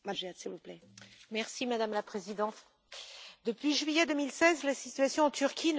Madame la Présidente, depuis juillet 2016, la situation en Turquie ne cesse de se dégrader.